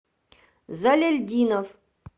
заляльдинов